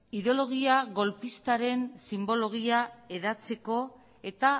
ideologia golpistaren sinbologia hedatzeko eta